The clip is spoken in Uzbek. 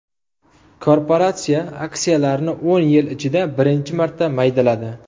Korporatsiya aksiyalarni o‘n yil ichida birinchi marta maydaladi.